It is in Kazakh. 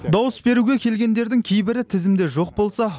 дауыс беруге келгендердің кейбірі тізімде жоқ болса